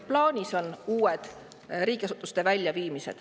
Plaanis on veel riigiasutusi välja viia.